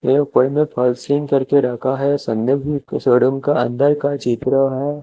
बड़े बड़े में पासिंग करके रखा है संदिग्ध स्टेडियम का अंदर का चित्र है।